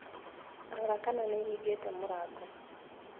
Rora kana nĩ hingĩte mũrango.